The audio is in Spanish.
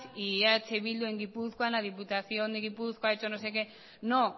y eh bildu en gipuzkoa en la diputación de gipuzkoa ha hecho no sé qué no